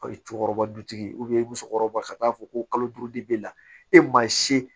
O ye cɛkɔrɔba dutigi ye musokɔrɔba ka taa fɔ ko kalo duuru de b'e la e maa si